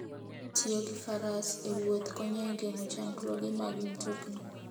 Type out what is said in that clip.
Tiyo gi faras e wuoth konyo e geng'o chandruoge mag mtokni.